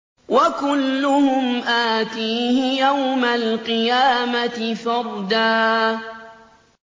وَكُلُّهُمْ آتِيهِ يَوْمَ الْقِيَامَةِ فَرْدًا